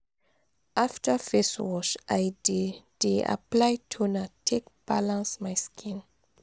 after face wash i dey dey apply toner take balance my skin.